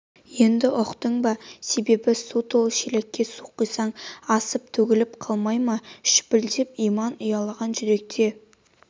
енді ұқтың ба себебін су толы шелекке су құйсаң асып төгіліп қалмай ма шүпілдеп иман ұялаған жүрек те